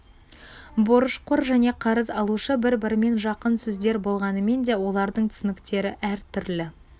борышқор және қарыз алушы бір-бірімен жақын сөздер болғанымен де олардың түсініктері әр түрлі